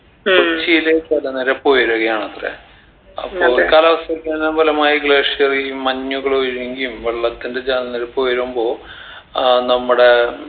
കൊച്ചിയിലെ ജലനിരപ്പ് ഉയരുകയാണത്രെ അപ്പൊ കാലാവസ്ഥയ്ക്കന്നെ ഫലമായി glacier ഈ മഞ്ഞുകൾ ഒഴുയുങ്കയും വെള്ളത്തിൻറെ ജലനിരപ്പ് ഉയരുമ്പോ ആഹ് നമ്മുടെ